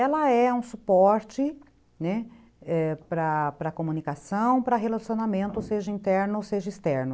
Ela é um suporte, né, para comunicação, para relacionamento, seja interno ou seja externo.